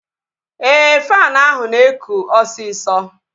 Ee, faanụ ahụ na-ekụ osisọ